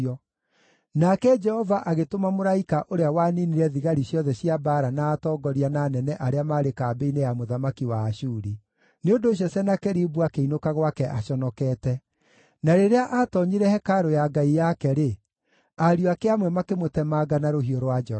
Nake Jehova agĩtũma mũraika ũrĩa waniinire thigari ciothe cia mbaara na atongoria na anene arĩa maarĩ kambĩ-inĩ ya mũthamaki wa Ashuri. Nĩ ũndũ ũcio Senakeribu akĩinũka gwake aconokete. Na rĩrĩa aatoonyire hekarũ ya ngai yake-rĩ, ariũ ake amwe makĩmũtemanga na rũhiũ rwa njora.